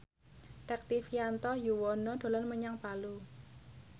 Rektivianto Yoewono dolan menyang Palu